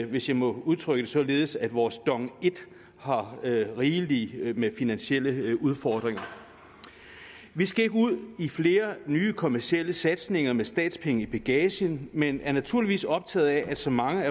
hvis jeg må udtrykke det således at vores dong i har rigeligt med finansielle udfordringer vi skal ikke ud i flere nye kommercielle satsninger med statspenge i bagagen men er naturligvis optaget af at så mange